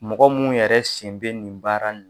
Mɔgɔ mun yɛrɛ sen bɛ nin baara in na.